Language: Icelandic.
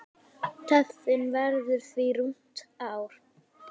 Töfin verður því rúmt ár.